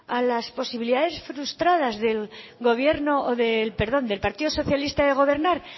a las posibilidades frustradas del gobierno o del perdón del partido socialista de gobernar